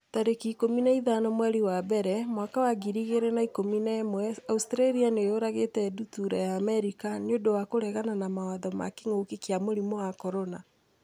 tarĩki ikũmi na ithano mweri wa mbere mwaka wa ngiri igĩrĩ na ikũmi na ĩmweAustralia nĩ yũragĩte ndutura ya Amerika 'nĩ ũndũ wa kũregana mawatho ma kĩngũki kia mũrimũ wa CORONA